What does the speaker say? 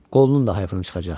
Qolunun da hayfını çıxacaq.